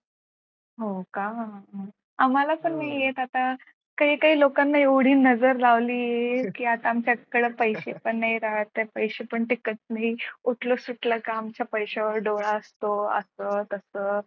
हो का? आम्हाला पण नाही येत आता काही काही लोकांनी एवढी नजर लावली आहे की आता आमच्याकडे पैसे पण नाही येत हातात पैसे पण टिकत नाहीत उठला सुटलं का आमचा पैशावर डोळा असतो असं तसं.